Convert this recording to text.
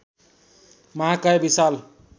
महाकाय विशाल